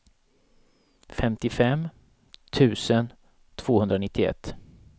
femtiofem tusen tvåhundranittioett